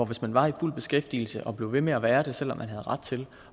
hvis man var i fuld beskæftigelse og blev ved med at være det selv om man havde ret til